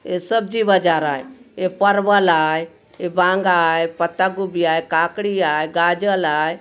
ये सब्जी बाज़ार आए ए परवल आए ए बांगा आय पत्ता गोभी आय काकड़ी आय गाजर आय।